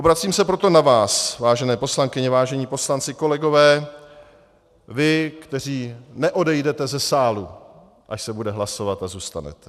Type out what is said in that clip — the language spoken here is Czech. Obracím se proto na vás, vážené poslankyně, vážení poslanci, kolegové, vy, kteří neodejdete ze sálu, až se bude hlasovat, a zůstanete.